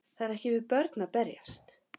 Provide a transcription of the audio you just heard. Það er ekki við börn að berjast